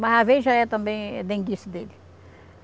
Mas, às vezes, já é, também, denguice dele.